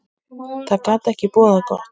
Það gat ekki boðað gott.